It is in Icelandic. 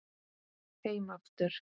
Heim aftur